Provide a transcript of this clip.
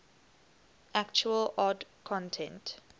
actual old content